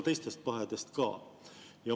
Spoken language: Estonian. Teistest pahedest ka.